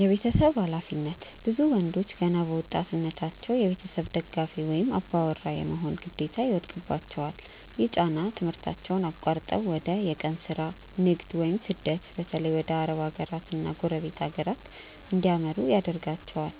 የቤተሰብ ኃላፊነት፦ ብዙ ወንዶች ገና በወጣትነታቸው የቤተሰብ ደጋፊ ወይም "አባወራ" የመሆን ግዴታ ይወድቅባቸዋል። ይህ ጫና ትምህርታቸውን አቋርጠው ወደ የቀን ሥራ፣ ንግድ ወይም ስደት (በተለይ ወደ አረብ ሀገራትና ጎረቤት ሀገራት) እንዲያመሩ ያደርጋቸዋል።